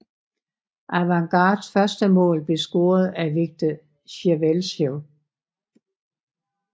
Avangards første mål blev scoret af Viktor Sjeveljev